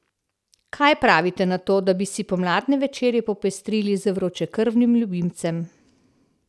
Kaj pravite na to, da bi si pomladne večere popestrili z vročekrvnim ljubimcem?